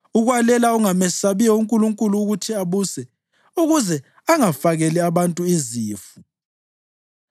ukwalela ongamesabiyo uNkulunkulu ukuthi abuse, ukuze angafakeli abantu izifu.